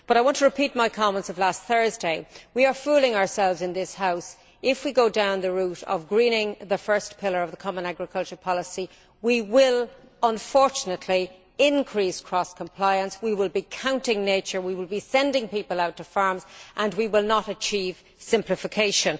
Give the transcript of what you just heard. I want to repeat my comments of last Thursday. We are fooling ourselves in this House. If we go down the route of greening the first pillar of the common agricultural policy, we will unfortunately increase cross compliance, we will be counting nature, we will be sending people out to farms and we will not achieve simplification.